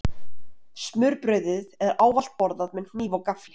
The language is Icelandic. Smurbrauðið er ávallt borðað með hníf og gaffli.